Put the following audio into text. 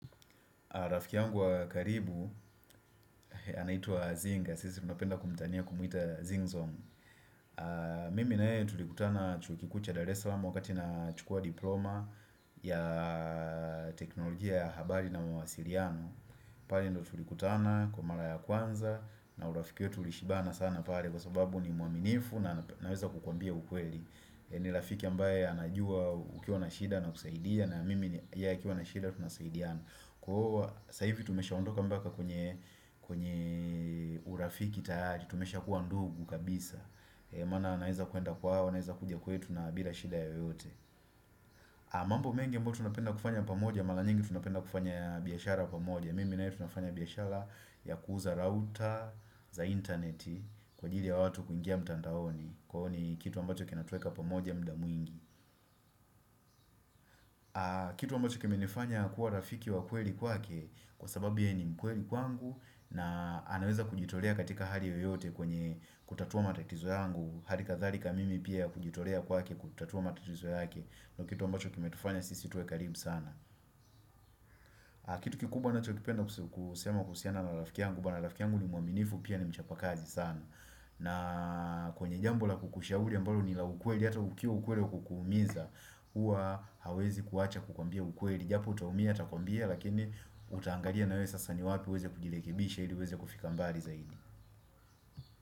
Rafiki yangu wa karibu, anaitwa Zinga, sisi tunapenda kumtania kumwita Zingzong. Mimi na yeye tulikutana chuo kikuu cha Dar es Salaam wakati nachukua diploma ya teknolojia ya habari na mawasiliano. Pale ndiyo tulikutana kwa mara ya kwanza na urafiki wetu ulishibana sana pale kwa sababu ni mwaminifu na naweza kukwambia ukweli. Ni rafiki ambaye anajua ukiwa na shida anakusaidia na mimi yeye akiwa na shida tunasaidiana. Kwa saa hivi tumeshaondoka mpaka kwenye urafiki tayari Tumeshakuwa ndugu kabisa Maana naweza kuenda kwao, naweza kuja kwetu na bila shida yoyote mambo mengi ambayo tunapenda kufanya pamoja Mara nyingi tunapenda kufanya biashara pamoja Mimi na yeye tunafanya biashara ya kuuza rauta za internet Kwa ajili ya watu kuingia mtandaoni Kwa ni kitu ambacho kinatuweka pamoja muda mwingi Kitu ambacho kimenifanya kuwa rafiki wa kweli kwake Kwa sababu yeye ni mkweli kwangu na anaweza kujitolea katika hali yoyote kwenye kutatua matatizo yangu Hali kadhalika mimi pia kujitolea kwake kutatua matatizo yake Ndiyo kitu ambacho kimetufanya sisi tuwe karibu sana Kitu kikubba ninachokipenda kusema kuhusiana na rafiki yangu Bana rafiki yangu ni mwaminifu pia ni mchapakazi sana na kwenye jambo la kukushauri ambalo ni la ukweli hata ukiwa ukweli kukuumiza Huwa hawezi kuacha kukuambia ukweli japo utaumia, atakuambia, lakini utaangalia na wewe sasa ni wapi, uweze kujirekebisha ili uweze kufika mbali zaidi.